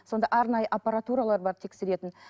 сондай арнайы аппаратуралар бар тексеретін